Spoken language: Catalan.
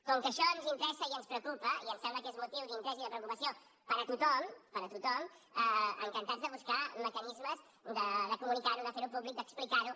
com que això ens interessa i ens preocupa i em sembla que és motiu d’interès i de preocupació per a tothom per a tothom encantats de buscar mecanismes de comunicar ho de fer ho públic d’explicar ho